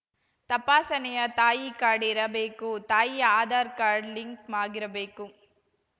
ತಪಾಸಣೆಯ ತಾಯಿ ಕಾರ್ಡ್‌ ಇರಬೇಕು ತಾಯಿಯ ಆಧಾರ್‌ ಕಾರ್ಡ್‌ ಲಿಂಕ್‌ ಆಗಿರಬೇಕು